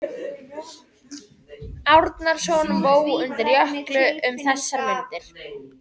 Árnason vó undir Jökli um þessar mundir.